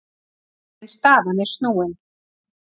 En staðan er snúin.